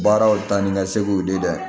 Baaraw taa ni ka segu di dɛ